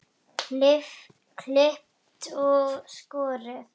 Klippt og skorið.